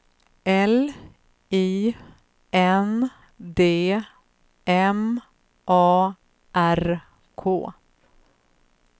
L I N D M A R K